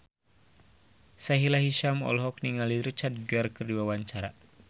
Sahila Hisyam olohok ningali Richard Gere keur diwawancara